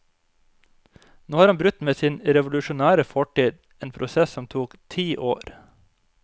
Nå har han brutt med sin revolusjonære fortid, en prosess som tok ti år.